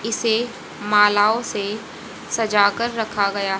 इसे मालाओं से सजाकर रखा गया।